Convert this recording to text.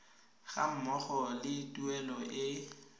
ga mmogo le tuelo e